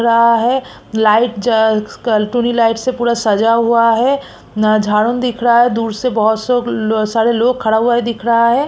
रहा है लाइट जल लाइट से पूरा सजा हुआ है नजारा दिख रहा है दूर से बहोत से सारे लोग खड़ा हुआ है दिख रहा है।